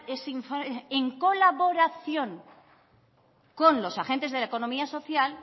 ese informe en colaboración con los agentes de la economía social